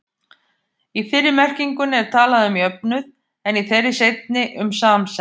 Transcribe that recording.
Í fyrri merkingunni er talað um jöfnuð, en í þeirri seinni um samsemd.